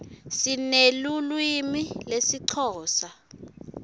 sinelulwimi lesixhosa